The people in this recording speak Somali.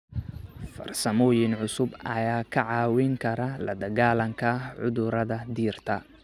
Farsamooyin cusub ayaa kaa caawin kara la dagaalanka cudurada dhirta.